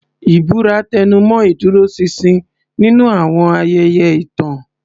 Ìbúra tẹnumọ́ ìdúróṣinṣin nínú àwọn ayẹyẹ ìtàn.